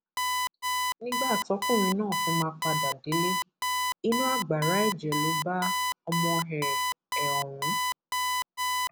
nígbà tọkùnrin náà fi máa padà délé inú agbára ẹjẹ ló bá ọmọ ẹ ẹ ọhún